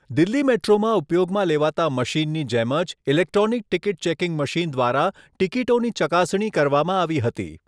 દિલ્હી મેટ્રોમાં ઉપયોગમાં લેવાતા મશીનની જેમ જ ઈલેક્ટ્રોનિક ટિકિટ ચેકિંગ મશીન દ્વારા ટિકિટોની ચકાસણી કરવામાં આવી હતી.